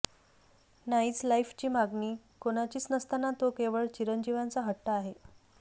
नाईच लाईफची मागणी कोणाचीच नसताना तो केवळ चिरंजीवाचा हट्ट आहे